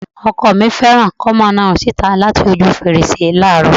Ọkọ mi fẹ́ràn kí ó máa na ọrùn síta láti ojú fèrèsé láààrọ̀